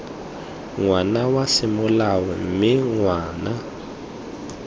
ngwana wa semolao mme ngwana